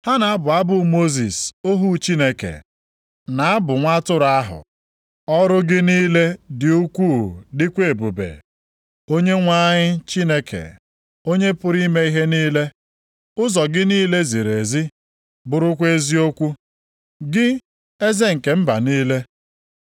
Ha na-abụ abụ Mosis ohu Chineke, na abụ Nwa atụrụ ahụ. “Ọrụ gị niile dị ukwuu dịkwa ebube, Onyenwe anyị Chineke, Onye pụrụ ime ihe niile. Ụzọ gị niile ziri ezi, bụrụkwa eziokwu, Gị, Eze nke mba niile.